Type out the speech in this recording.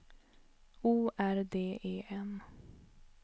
O R D E N